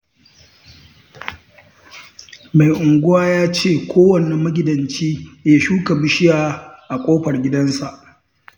Mai unguwa ya ce kowanne magidanci ya shuka bishiya a ƙofar gidansa